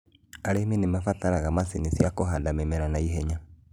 Arĩmi nĩ mabataraga macinĩ cia kũhanda mĩmera na ihenya.